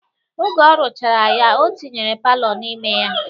Oge ọ rụchara ya, o tinyere palọ n'ime ya